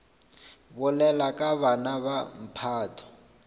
bolela ka bana ba mphato